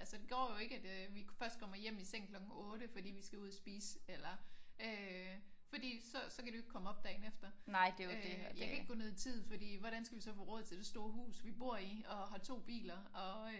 Altså det går jo ikke at vi først kommer hjem i seng klokken 8 fordi vi skal ud at spise eller øh fordi så så kan de jo ikke komme op dagen efter. Øh jeg kan ikke gå ned i tid for hvordan skal vi så få råd til det store hus vi bor i? Og har 2 biler og